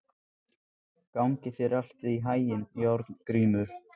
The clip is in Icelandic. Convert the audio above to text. Gangi þér allt í haginn, Járngrímur.